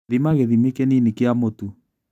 Thima gĩthimi kĩnini kia mũtu.